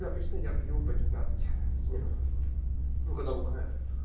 обычно я пью по пятнадцать за смену ну когда бухаю